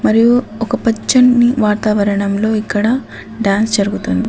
మరియు ఒక పచ్చని వాతావరణంలో ఇక్కడ డాన్స్ జరుగుతుంది.